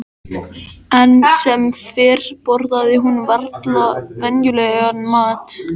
Enn sem fyrr borðaði hún varla venjulegan mat.